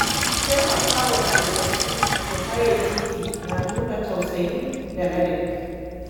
Taimakawa tsofaffi su haye titi na nuna tausayi da ladabi.